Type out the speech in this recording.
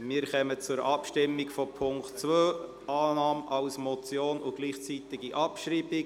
Wir kommen zur Abstimmung über den Punkt 2, Annahme als Motion und gleichzeitige Abschreibung.